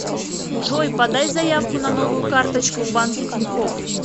джой подай заявку на новую карточку в банке тинькофф